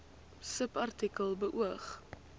subartikel beoog